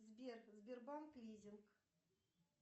сбер сбербанк лизинг